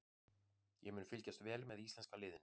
Ég mun fylgjast vel með íslenska liðinu.